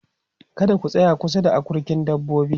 kada ku tsaya kusa da akurkin dabbobi